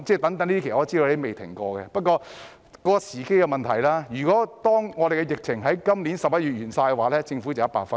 不過，這是時機問題，如果疫情在去年11月完結，政府會得100分。